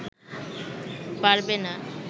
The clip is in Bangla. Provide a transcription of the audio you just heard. পারবে না